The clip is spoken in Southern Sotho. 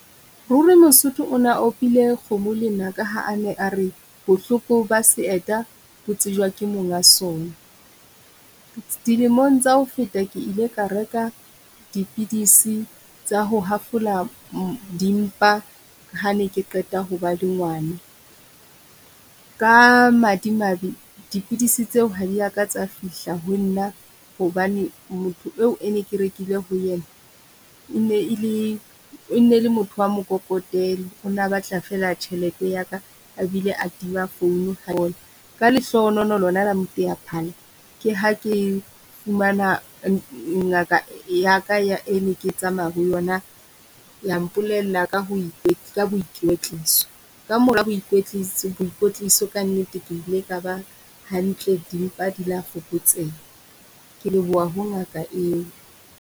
Ruri mosotho o na opile kgomo lenaka ha a ne a re bohloko ba seeta bo tsejewa ke monga sona. Dilemong tsa ho feta ke ile ka reka dipidisi tsa ho hafola dimpa ha ne ke qeta ho ba le ngwana. Ka madimabe dipidisi tseo ha diaka tsa fihla ho nna hobane motho eo e ne ke rekile ho ena e ne le e ne le motho wa mokokotelo. O na batla feela tjhelete ya ka a bile a tima founu ka lehlohonolo lona la moteaphala ke ha ke fumana ngaka ya ka ya e ne ke tsamaya ho yona ya mpolella ka ho ka boikwetliso. Kamora boikwetliso kannete ke ile ka bang hantle dimpa di la fokotseha. Ke leboha ho ngaka eo.